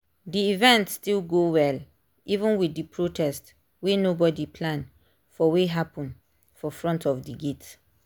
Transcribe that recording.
the event still go well even with the protest wey nobody plan for wey happen for front of d gate